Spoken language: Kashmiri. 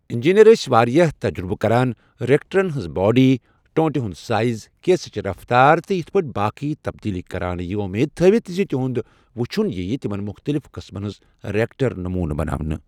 اِنجینیر ٲسۍ وارِیاہ تجربہٕ كران، رِیكٹرن ہٕنٛز باڈی، ٹوٗنٹہِ ہُند سایز، گیسٕچ رفتار تہٕ یتھ پٲٹھۍ باقٕے تبدیلی كران، یہِ وۄمید تھٲوِتھ زِ تِہنٛد وٕچُھن ییٖیہٕ تِمن مختلِف قٕسمن ہنٛز رِیكٹر نموٗنہٕ بناونہٕ ۔